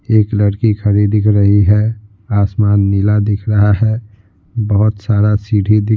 एक लड़की खड़ी दिख रही है आसमान नीला दिख रहा है बहुत सारा सीढ़ी दिख --